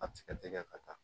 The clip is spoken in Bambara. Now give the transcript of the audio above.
A bɛ se ka tɛgɛ ka taa